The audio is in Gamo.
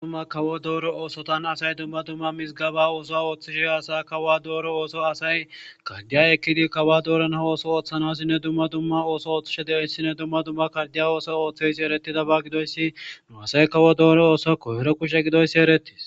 dumma kawo dooro oosotan asay dumma dumma mizgaba ooso ooththishe asa kawa dooro ooso asay kardiya ekkidi kawa dooron ha ooso ooththanosinne dumma dumma ooso ooththishe deoyssinne dumma dumma kardiya ooso ooththeys eretida ba gidoyssi nu asay kawo dooro ooso koyro kushe gidoyssi erettes